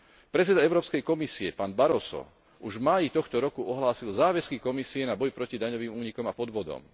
Predseda Európskej komisie, pán Barroso, už v máji tohto roku ohlásil záväzky Komisie na boj proti daňovým únikom a podvodom.